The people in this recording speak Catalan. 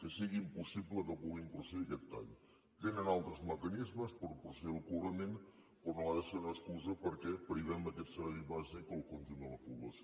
que sigui impossible que pugui procedir a aquest tall tenen altres mecanismes per procedir al cobrament però no ha de ser una excusa perquè privem d’aquest servei bàsic el conjunt de la població